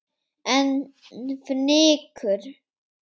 En fnykur